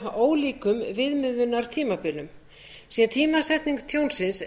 af ólíkum viðmiðunartímabilum sé tímasetning tjónsins